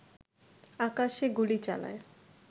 আকাশে গুলি চালায়